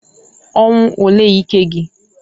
Ọnwụ olee ike gi?